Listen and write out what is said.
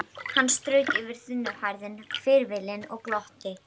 Hann strauk yfir þunnhærðan hvirfilinn og glotti.